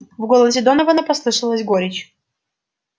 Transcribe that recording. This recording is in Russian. в голосе донована послышалась горечь